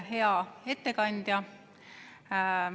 Hea ettekandja!